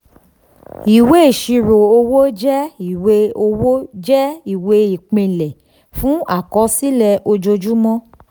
ìwé ìṣirò owó jẹ́ ìwé owó jẹ́ ìwé ìpìlẹ̀ fún àkọsílẹ̀ ojoojúmọ́.